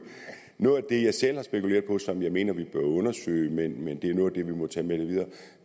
noget af det jeg selv har spekuleret på og som jeg mener vi bør undersøge men men det er noget af det vi må tage med videre